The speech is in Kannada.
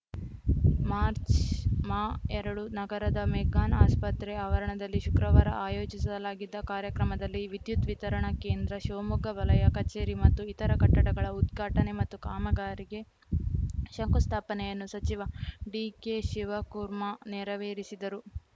ಮಾರ್ಚ್ ಮಾ ಎರಡು ನಗರದ ಮೆಗ್ಗಾನ್‌ ಆಸ್ಪತ್ರೆ ಆವರಣದಲ್ಲಿ ಶುಕ್ರವಾರ ಆಯೋಜಿಸಲಾಗಿದ್ದ ಕಾರ್ಯಕ್ರಮದಲ್ಲಿ ವಿದ್ಯುತ್‌ ವಿತರಣಾ ಕೇಂದ್ರ ಶಿವಮೊಗ್ಗ ವಲಯ ಕಚೇರಿ ಮತ್ತು ಇತರ ಕಟ್ಟಡಗಳ ಉದ್ಘಾಟನೆ ಮತ್ತು ಕಾಮಗಾರಿಗೆ ಶಂಕುಸ್ಥಾಪನೆಯನ್ನು ಸಚಿವ ಡಿಕೆ ಶಿವಕುರ್ಮಾ ನೆರವೇರಿಸಿದರು